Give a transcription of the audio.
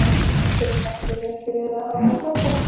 Af hverju lagði ég mig ekki fram við að hafa samband?